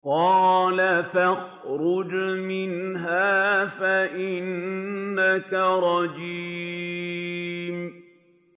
قَالَ فَاخْرُجْ مِنْهَا فَإِنَّكَ رَجِيمٌ